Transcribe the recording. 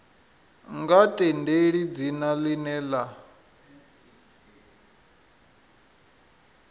nga tendeli dzina ḽine ḽa